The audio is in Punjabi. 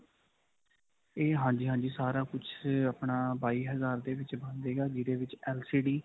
ਇਹ ਹਾਂਜੀ, ਹਾਂਜੀ. ਸਾਰਾ ਕੁਝ ਆਪਣਾ ਬਾਈ ਹਜਾਰ ਦੇ ਵਿੱਚ ਬਣ ਜਾਏਗਾ. ਜਿਦੇ ਵਿੱਚ LCD